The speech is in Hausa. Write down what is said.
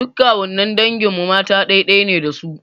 Duk kawunnan dangin mu mata ɗai-ɗai ne da su.